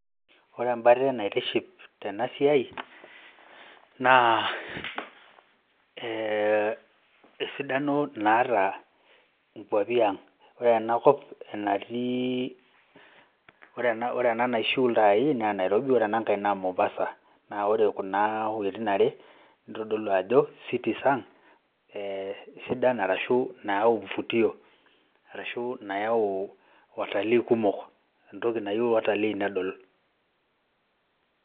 Ore embate naitiship tena siai naa ee esidano naata nkuapi ang'. Ore ena kop enatii, ore ena naishu iltai naa Nairobi, ore ena nkae naa Mombasa, neeku ore kuna wuetin are nitodolu ajo cities ang' sidan arashu nayau mvutio arashu nayau watalii kumok entoki nayiu watalii nedol.